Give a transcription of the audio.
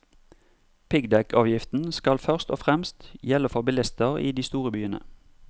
Piggdekkavgiften skal først og fremst gjelde for bilister i de store byene.